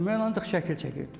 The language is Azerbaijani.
Mən ancaq şəkil çəkirdim.